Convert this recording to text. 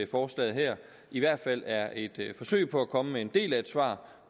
forslaget her i hvert fald er et forsøg på at komme med en del af svaret